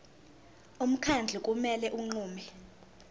umkhandlu kumele unqume